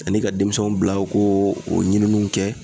Ani ka denmisɛnw bila u ko o ɲininiw kɛ